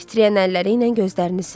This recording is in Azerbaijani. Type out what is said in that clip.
Titriyən əlləri ilə gözlərini sildi.